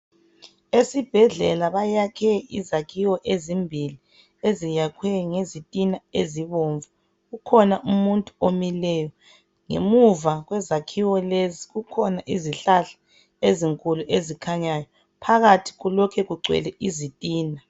Esibhedlela bayakhe izakhiwo ezimbili eziyakhwe ngezitina ezibomvu . Kukhona umuntu omileyo. Ngemuva kwezakhiwo lezi kukhona izihlahla ezinkulu ezikhanyayo. Phakathi kulokhe kugcwele izitina.